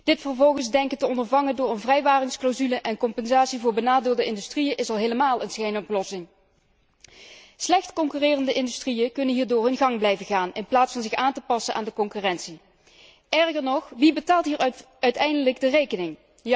Dit vervolgens denken te ondervangen door een vrijwaringsclausule en compensatie voor benadeelde industrieën is al helemaal een schijnoplossing. Slecht concurrerende industrieën kunnen hierdoor hun gang blijven gaan, in plaats van zich aan te passen aan de concurrentie. Erger nog, wie betaalt hier uiteindelijk de rekening?